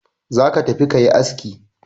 Za ka tafi ka yi aski!